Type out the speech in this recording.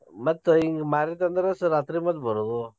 ಮತ್ ಹಿಂಗ್ ಮಾರಿದ್ವಿಂದ್ರ ರಾತ್ರಿ ಮತ್ತ್ ಬರುದು.